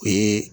O ye